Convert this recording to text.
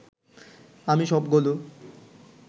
আমি সবগুলো